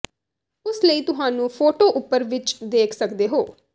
ਉਸ ਲਈ ਤੁਹਾਨੂੰ ਫੋਟੋ ਉਪਰ ਵਿਚ ਦੇਖ ਸਕਦੇ ਹੋ